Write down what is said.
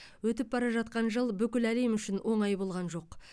өтіп бара жатқан жыл бүкіл әлем үшін оңай болған жоқ